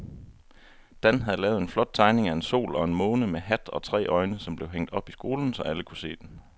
Dan havde lavet en flot tegning af en sol og en måne med hat og tre øjne, som blev hængt op i skolen, så alle kunne se den.